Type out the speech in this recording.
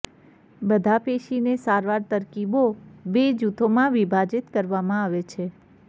બધા પેશીને સારવાર તરકીબો બે જૂથોમાં વિભાજિત કરવામાં આવે છે